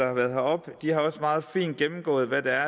har været heroppe har også meget fint gennemgået hvad der